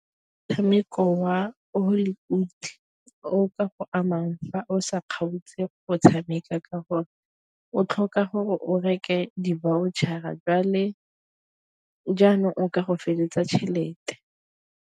Motshameko wa Hollywood o ka go amang fa o sa kgaotse go tshameka, ka gore o tlhoka gore o reke di-voucher-a jwale jaanong o ka go feleletsa tšhelete.